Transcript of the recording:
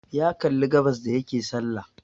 Ya kalli gabas da yake salla